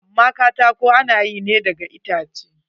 Amma katako ana yi ne daga itace.